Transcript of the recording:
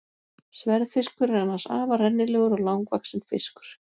Sverðfiskur er annars afar rennilegur og langvaxinn fiskur.